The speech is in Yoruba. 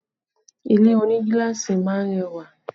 Ilé oní gíláàsì máa ń rẹwà